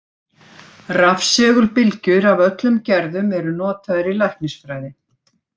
Rafsegulbylgjur af öllum gerðum eru notaðar í læknisfræði.